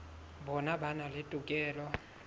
bona ba na le tokelo